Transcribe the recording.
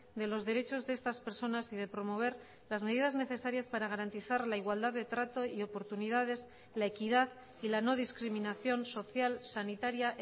de los derechos de estas personas y de promover las medidas necesarias para garantizar la igualdad de trato y oportunidades la equidad y la no discriminación social sanitaria